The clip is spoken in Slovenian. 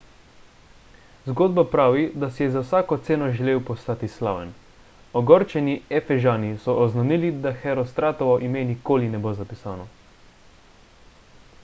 zgodba pravi da si je za vsako ceno želel postati slaven ogorčeni efežani so oznanili da herostratovo ime nikoli ne bo zapisano